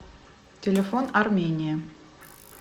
телефон армения